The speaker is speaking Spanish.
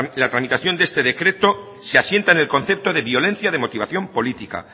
la tramitación de este decreto se asienta en el concepto de violencia de motivación política